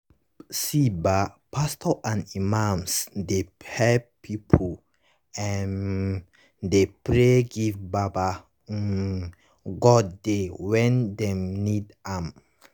see bah pastos and imams dey helep pipu um dey pray give baba um godey when dem need am